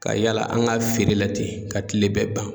Ka yala an ka feere la ten, ka kile bɛɛ ban.